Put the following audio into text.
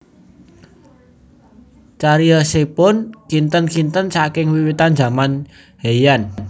Cariyosipun kinten kinten saking wiwitan zaman Heian